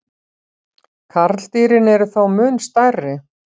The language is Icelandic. Karldýrin eru þó mun stærri.